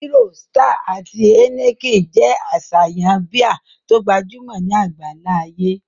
Hero, Star, àti Heineken jẹ́ àṣàyàn bíà tó gbajúmọ̀ ní àgbáńlá ayé